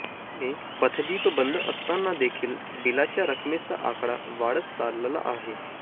निम्मे पथदीप बंद असताना देखील बिलाच्या रकमेचा आकडा वाढत चालला आहे